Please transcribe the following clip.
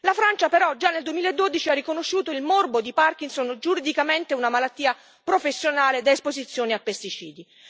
La Francia, però, già nel 2012 ha riconosciuto il morbo di Parkinson giuridicamente una malattia professionale da esposizione a pesticidi.